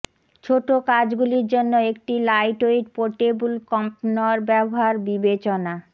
ছোট কাজগুলির জন্য একটি লাইটওয়েট পোর্টেবল কম্পনর ব্যবহার বিবেচনা